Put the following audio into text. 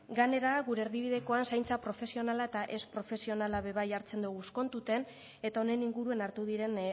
gainera gure erdibidekoan zaintza profesionala eta ez profesionala ere hartzen dugu kontuan eta honen inguruan hartu diren